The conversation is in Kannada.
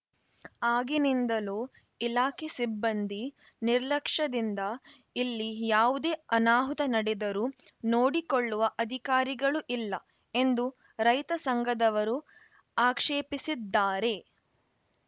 ಆಗಿನಿಂದಲೂ ಇಲಾಖೆ ಸಿಬ್ಬಂದಿ ನಿರ್ಲಕ್ಷದಿಂದ ಇಲ್ಲಿ ಯಾವುದೇ ಅನಾಹುತ ನಡೆದರೂ ನೋಡಿ ಕೊಳ್ಳುವ ಅಧಿಕಾರಿಗಳು ಇಲ್ಲ ಎಂದು ರೈತ ಸಂಘದವರು ಆಕ್ಷೇಪಿಸಿದ್ದಾರೆ